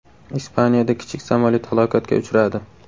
Ispaniyada kichik samolyot halokatga uchradi.